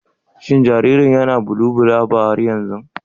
Shin jaririn yana bulubulaba har yanzu?